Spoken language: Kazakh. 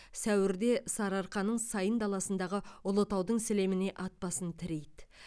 сәуірде сарыарқаның сайын даласындағы ұлытаудың сілеміне ат басын тірейді